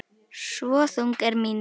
Svo þung er mín þrá.